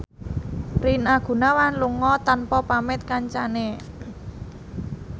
Rina Gunawan lunga tanpa pamit kancane